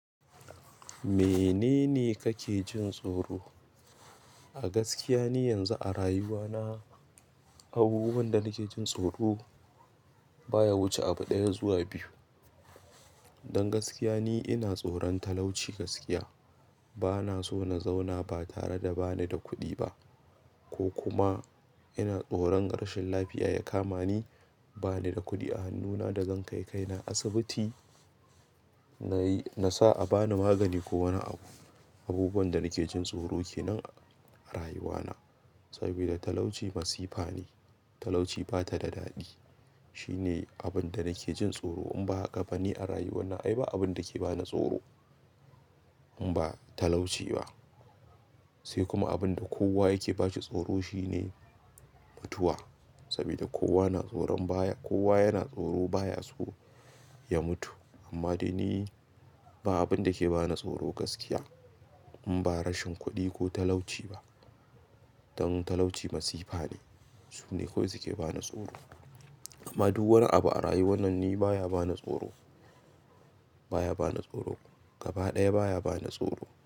Menene kake jin tsoro? A gaskiya ni yanzu a rayuwa na, abubuwan da nake jin tsoro baya wuce abu ɗaya zuwa biyu. Don gaskiya ni ina tsoron talauci gaskiya. Bana so na zauna ba tare da ba ni da kuɗi ba ko kuma ina tsoron rashin lafiya ya kama ni ba ni da kuɗi a hannuna da zan kai kai na asibiti na yi-- na sa a bani magani ko wani abu. Abubuwan da nake jin tsoro kenan a rayuwa na, saboda talauci masifa ne. Talauci bata da daɗi. Shine abin da nake jin tsoro in ba haka ba ni a rayuwa na ai ba abin da ke ba na tsoro in ba talauci ba. Sai kuma abin da kowa yake bashi tsoro shine mutuwa. Saboda kowa na tsoron baya-- kowa yana tsoro baya so ya mutu. Amma dai ni ba abin da ke ba na tsoro gaskiya in ba rashin kuɗi ko talauci ba. Don talauci masifa ne, su ne kawai suke ba ni tsoro. Amma duk wani abu a rayuwa nan ni baya ba ni tsoro, baya ba ni tsoro. Gaba ɗaya baya ba na tsoro.